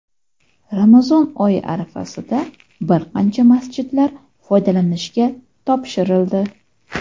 Ramazon oyi arafasida bir qancha masjidlar foydalanishga topshirildi.